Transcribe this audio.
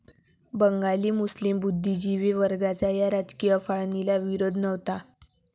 बंगाली मुस्लीम बुद्धिजीवी वर्गाचा या राजकीय फाळणीला विरोध नव्हता.